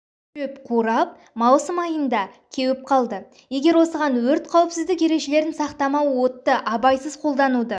шөп қурап маусым айында кеуіп қалды егер осыған өрт қауіпсіздік ережелерін сақтамау отты абайсыз қолдануды